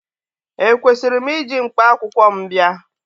Ekwesịrị m iji mkpakwụkwọ m bịa?